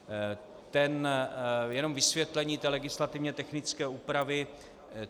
Jenom vysvětlení té legislativně technické úpravy.